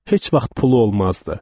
Heç vaxt pulu olmazdı.